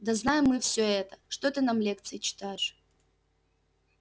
да знаем мы всё это что ты нам лекции читаешь